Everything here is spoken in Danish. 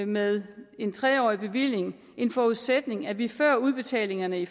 med en tre årig bevilling en forudsætning at vi før udbetalingerne i